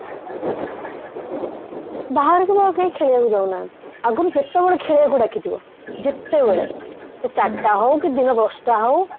ବାହାରକୁ ବି ଆଉ କେହି ଖେଳିବାକୁ ଯାଉନାହାନ୍ତି ଆଗରୁ ଯେତେବେଳେ ଖେଳିବାକୁ ଡ଼ାକିଥିବ ଯେତେବେଳେ ସେ ଚାରିଟା ହଉ କି ଦିନ ଦଶଟା ହଉ